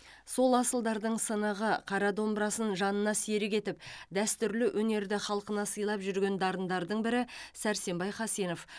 сол асылдардың сынығы қара домбырасын жанына серік етіп дәстүрлі өнерді халқына сыйлап жүрген дарындардың бірі сәрсенбай хасенов